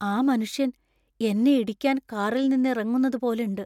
ആ മനുഷ്യൻ എന്നെ ഇടിക്കാൻ കാറിൽ നിന്ന് ഇറങ്ങുന്നത് പോലെണ്ട്.